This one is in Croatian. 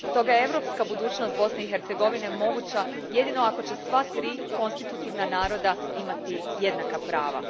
Stoga je europska budućnost Bosne i Hercegovine moguća jedino ako će sva tri konstitutivna naroda imati jednaka prava.